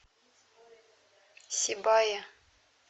сибае